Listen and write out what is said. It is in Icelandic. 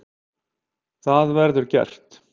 Það verður gert.